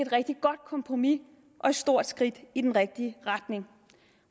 rigtig godt kompromis og et stort skridt i den rigtige retning